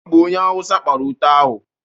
Ọ bụ onye awụsa kpara ute ahụ.